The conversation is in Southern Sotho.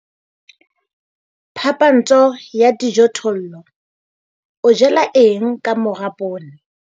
Phapantsho ya dijothollo - o jala eng ka mora poone?